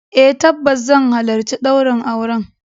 Eh tabbas zan halarci daurin auren.